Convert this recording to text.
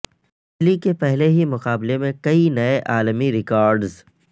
انجلی کے پہلے ہی مقابلے میں کئی نئے عالمی ریکارڈز